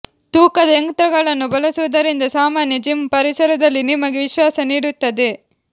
ತೂಕದ ಯಂತ್ರಗಳನ್ನು ಬಳಸುವುದರಿಂದ ಸಾಮಾನ್ಯ ಜಿಮ್ ಪರಿಸರದಲ್ಲಿ ನಿಮಗೆ ವಿಶ್ವಾಸ ನೀಡುತ್ತದೆ